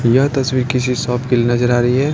यह तस्वीर किसी शॉप किल नजर आ रही है।